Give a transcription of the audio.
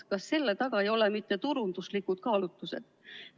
Kas selle taga ei ole mitte turunduslikud kaalutlused?